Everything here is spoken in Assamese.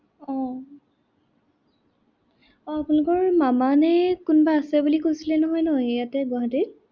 আহ আহ আপোনালোকৰ মামা নে কোনোবা আছে বুলি কৈছিল নহয় ন, ইয়াতে গুৱাহাটীত।